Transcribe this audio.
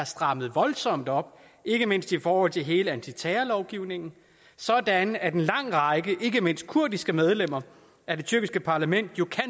strammet voldsomt op ikke mindst i forhold til hele antiterrorlovgivningen sådan at en lang række ikke mindst kurdiske medlemmer af det tyrkiske parlament jo